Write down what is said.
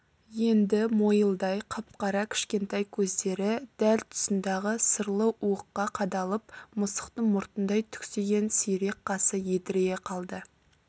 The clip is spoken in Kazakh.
енді мойылдай қап-қара кішкентай көздері дәл тұсындағы сырлы уыққа қадалып мысықтың мұртындай түксиген сирек қасы едірейе қалды